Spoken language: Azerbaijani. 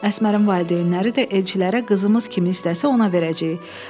Əsmərin valideynləri də elçilərə qızımız kimi istəsə ona verəcəyik.